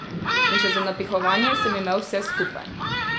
In še za napihovanje sem imel vse skupaj.